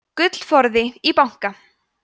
gullforði í banka